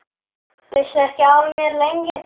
Vissi ekki af mér, lengi.